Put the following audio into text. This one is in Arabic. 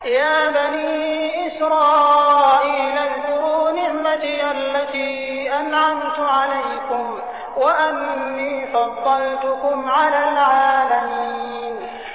يَا بَنِي إِسْرَائِيلَ اذْكُرُوا نِعْمَتِيَ الَّتِي أَنْعَمْتُ عَلَيْكُمْ وَأَنِّي فَضَّلْتُكُمْ عَلَى الْعَالَمِينَ